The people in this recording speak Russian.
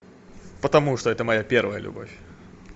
потому что это моя первая любовь